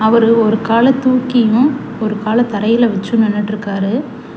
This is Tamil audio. அவரு ஒரு கால தூக்கியோ ஒரு கால தரைல வெச்சோ நின்னுட்ருக்காரு.